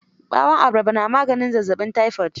Ɓawon abarba na maganin zazzaɓin tayifot.